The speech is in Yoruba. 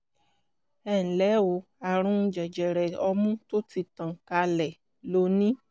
ẹnlẹ́ o ààrùn jẹjẹrẹ ọmú tó ti tàn kálẹ̀ ló ní